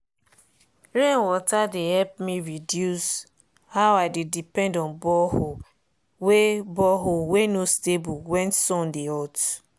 rain water dey help me reduce how i dey depend on borehole wey borehole wey no stable when sun dey hot.